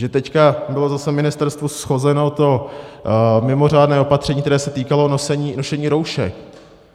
Že teď bylo zase ministerstvu shozeno to mimořádné opatření, které se týkalo nošení roušek,